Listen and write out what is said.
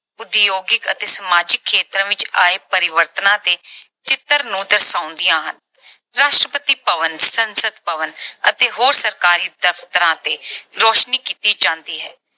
ਉਦਯੋਗਿਕ ਅਤੇ ਸਮਾਜਿਕ ਖੇਤਰ ਵਿੱਚ ਆਏ ਪਰਿਵਰਤਨਾਂ ਦੇ ਚਿੱਤਰ ਨੂੰ ਦਰਸਾਉਂਦੀਆਂ ਹਨ। ਰਾਸ਼ਟਰਪਤੀ ਭਵਨ, ਸੰਸਦ ਭਵਨ ਅਤੇ ਹੋਰ ਸਰਕਾਰੀ ਦਫ਼ਤਰਾਂ ਤੇ ਰੌਸ਼ਨੀ ਕੀਤੀ ਜਾਂਦੀ ਹੈ।